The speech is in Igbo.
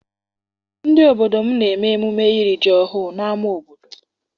Ndị obodo m na-eme emume iri ji ọhụụ n'ama obodo.